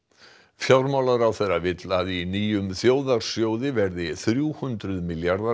fjármálaráðherra vill að í nýjum þjóðarsjóði verði þrjú hundruð milljarðar